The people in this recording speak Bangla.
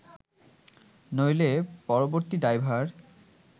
নইলে পরবর্তী দায়ভার